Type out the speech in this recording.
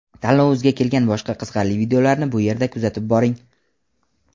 Tanlovimizga kelgan boshqa qiziqarli videolarni bu yerda kuzatib boring .